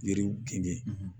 Yiriw kɛn